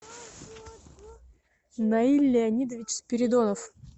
наиль леонидович спиридонов